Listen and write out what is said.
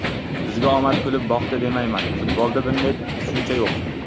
Bizga omad kulib boqdi demayman, futbolda bunday tushuncha yo‘q.